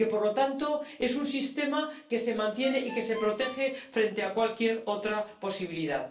Y, por lo tanto, es un sistema que se mantiene y que se protege frente a cualquier otra posibilidad.